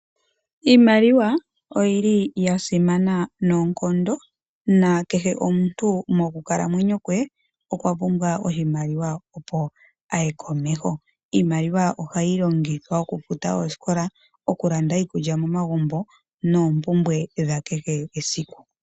Iimaliwa oyi li yasimana noonkondo nakehe omuntu mokukalamwenyo kwe okwapumbwa oshimaliwa opo aye komeho, iimaliwa ohayi longithwa okufuta oosikola, ukulanda iikulya momagumbo noompumbwe dha kehe esiku.